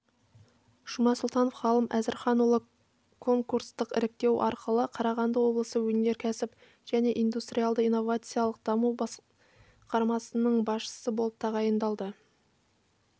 жұмасұлтанов ғалым әзірханұлы конкурстық іріктеу арқылы қарағанды облысы өнеркәсіп және индустриалды-иновациялық даму басқармасының басшысы болып тағайындалды